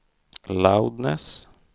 loudness